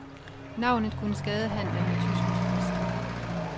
Navnet kunne skade handelen med tyske turister.